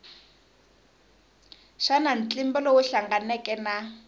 xana ntlimbo lowu hlanganeke na